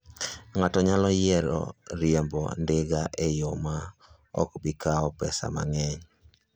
Ng'ato nyalo yiero riembo ndiga e yo ma ok bi kawo pesa mang'eny.